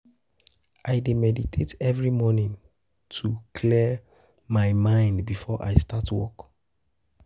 I dey meditate every morning to um clear um my mind before I start work.